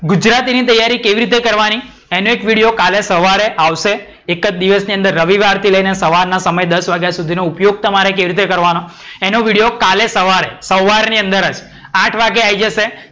ગુજરાતી ની તૈયારી કેવી રીતે કરવાની? ઇનો એક વિડિયો કાલે સવારે આવશે. એક જ દિવસની અંદર રવિવારથી લઈને સવારના સમય દસ વાગ્યા સુધી નો ઉપયોગ તમારે કેવી રીતે કરવાનો? એનો વિડિયો કાલે સવારે સવાર ની અંદર જ આઠ વાગે આય જશે.